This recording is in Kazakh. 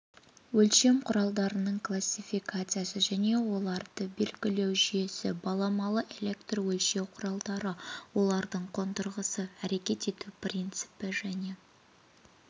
өлшем құралының классификациясы және оларды белгілеу жүйесі баламалы электрөлшеу құралдары олардың қондырғысы әрекет ету принципі және